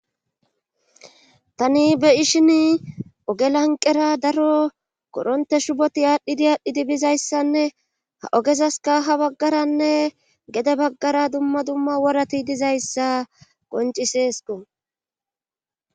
Tani be ishin oge lanqera daro koronte shuboti aadhdhidi aadhdhidi bizayssanne ha ogezaska ha baggaranne gede baggara dumma dumma worati dizayssa qoncisesko